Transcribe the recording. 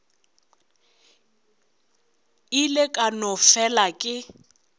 ile ka no fela ke